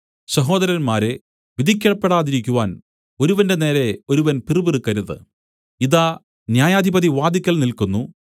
സഹോദരന്മാരേ വിധിക്കപ്പെടാതിരിക്കുവാൻ ഒരുവന്റെ നേരെ ഒരുവൻ പിറുപിറുക്കരുത് ഇതാ ന്യായാധിപതി വാതിൽക്കൽ നില്ക്കുന്നു